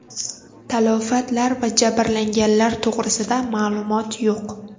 Talafotlar va jabrlanganlar to‘g‘risida ma’lumot yo‘q.